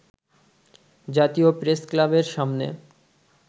জাতীয় প্রেসক্লাবের সামনে